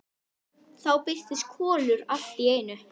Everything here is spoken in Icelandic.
Þá birtist Kolur allt í einu.